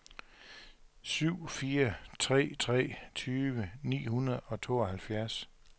syv fire tre tre tyve ni hundrede og tooghalvfjerds